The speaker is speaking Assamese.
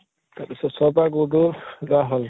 তাৰ পিছত ছ পা গৈ গৈ